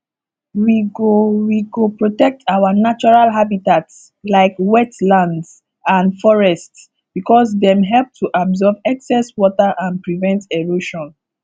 we go we go protect our natural habitats like wetlands and forests because dem help to absorb excess water and prevent erosion